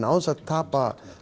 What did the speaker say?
án þess að tapa